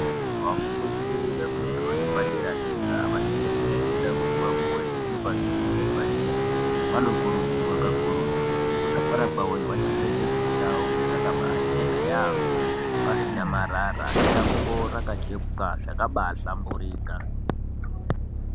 Vafundi vefundo yepadera dera vanenge veifunda kuti vapuwe zvithupa zvepadera vanokurudzirwa kakurutu kuti kuzvikora kwavoyo vachengetedze ndau dzakabachena yaamho pasina marara shango rakachekwa zvabahlamburika.